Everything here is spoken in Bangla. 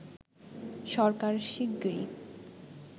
সরকার শিগগিরই